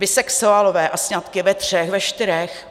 Bisexuálové a sňatky ve třech, ve čtyřech?